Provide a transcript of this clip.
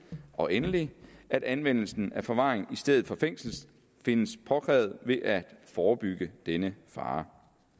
og endelig at anvendelse af forvaring i stedet for fængsel findes påkrævet ved at forebygge denne fare